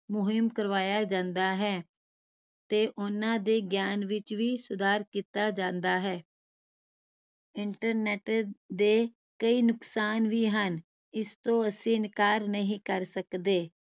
ਮੁਹਿੰਮ ਕਰਵਾਇਆ ਜਾਂਦਾ ਹੈ ਤੇ ਉਹਨਾਂ ਦੇ ਗਿਆਨ ਵਿਚ ਵੀ ਸੁਧਾਰ ਕੀਤਾ ਜਾਂਦਾ ਹੈ internet ਦੇ ਕਈ ਨੁਕਸਾਨ ਵੀ ਹਨ ਇਸ ਤੋਂ ਅਸੀਂ ਇਨਕਾਰ ਨਹੀਂ ਕਰ ਸਕਦੇ